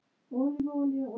Eftir að